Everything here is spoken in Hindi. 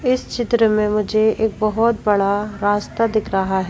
इस चित्र में मुझे एक बहुत बड़ा रास्ता दिख रहा है।